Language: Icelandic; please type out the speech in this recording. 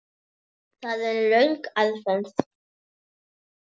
Það er röng aðferð.